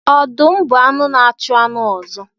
Ọdụm bụ anụ na-achụ anụ ọzọ